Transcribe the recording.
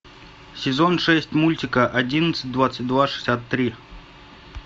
сезон шесть мультика одиннадцать двадцать два шестьдесят три